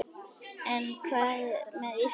En hvað með Ísland?